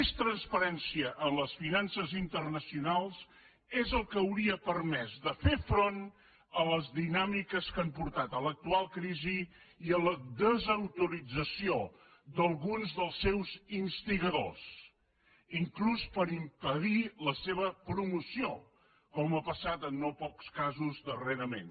més transparència en les finances internacionals és el que hauria permès de fer front a les dinàmiques que han portat a l’actual crisi i a la desautorització d’alguns dels seus instigadors inclús per impedir la seva promoció com ha passat en no pocs casos darrerament